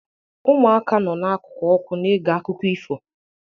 Ụmụaka nọ n'akụkụ ọkụ na-ege akụkọ ifo.